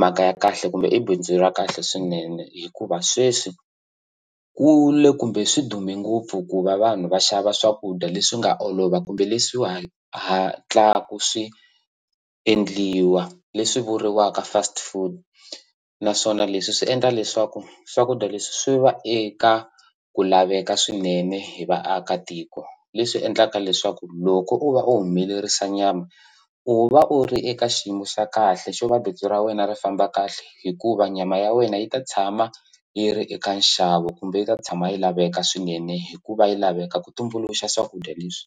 mhaka ya kahle kumbe i bindzu ra kahle swinene hikuva sweswi ku le kumbe swi dume ngopfu ku va vanhu va xava swakudya leswi nga olova kumbe leswi hatlaku swi endliwa leswi vuriwaka fast food naswona leswi swi endla leswaku swakudya leswi swi va eka ku laveka swinene hi vaakatiko leswi endlaka leswaku loko u va u humelerisa nyama u va u ri eka xiyimo xa kahle xo va bindzu ra wena ri famba kahle hikuva nyama ya wena yi ta tshama yi ri eka nxavo kumbe yi ta tshama yi laveka swinene hikuva yi laveka ku tumbuluxa swakudya leswi.